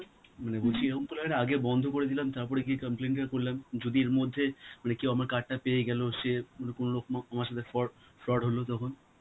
মানে বলছি, এরকম করলে হয় না, আগে বন্ধ করে দিলাম, তারপরে গিয়ে complaint টা করলাম, যদি এর মধ্যে মানে কেউ আমার card টা পেয়ে গেল, সে ম~ কোনোরকম আমার সাথে for~ fraud হলো তখন?